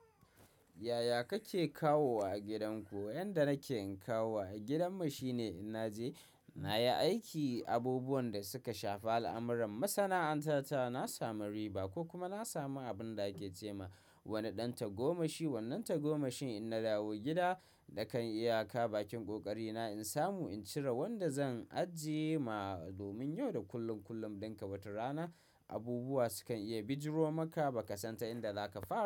Yaya kake kawowa a gidanku? Yanda nake kawowa a gidanmu shine in naje na yi aiki, abubuwan da suka shafa al'amuran masana'anta ta na samu riba ko kuma na samu abin da ake ce ma wani ɗan tagomashi wannan tagomashin. In na dawo gida, nakan yi aika bakin ƙoƙari na in samu in cire wanda zan ajiye ma domin yau da kullum, kullum don ka batar rana abubuwa sukan iya bijiro maka ba ka san ta inda zaka fa?